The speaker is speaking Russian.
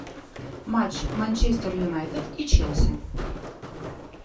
матч манчестер юнайтед и челси